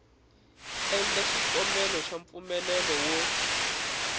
endla xikombelo xa mpfumelelo wo